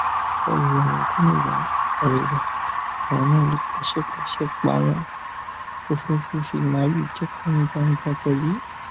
tó bá wu àwọn gómìnà àríwá àwọn náà lè pàṣẹ pàṣẹ páwọn ò fẹ fífi màálùú jẹko ní gbangba pẹlú